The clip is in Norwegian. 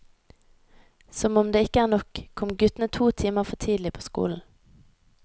Som om ikke det ikke er nok, kom guttene to timer for tidlig på skolen.